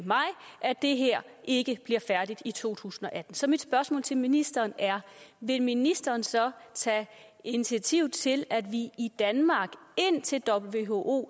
det her ikke bliver færdigt i to tusind og atten så mit spørgsmål til ministeren er vil ministeren så tage initiativ til at vi i danmark indtil who